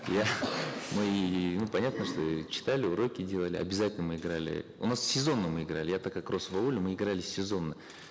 я мы ну понятно что и читали уроки делали обязательно мы играли у нас сезонно мы играли я так как рос в ауле мы играли сезонно